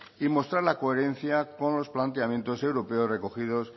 y mostrar la coherencia con los planteamientos europeos recogidos